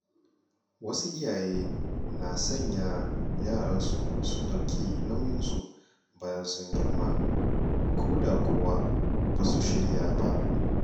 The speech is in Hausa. Wasu iyaye na sanya yara su ɗauki nauyin su bayan sun girma, ko da kuwa ba su shirya ba.